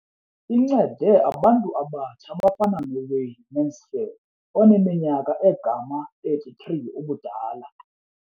Incede abantu abatsha abafana noWayne Mansfield oneminyaka engama-33 ubudala.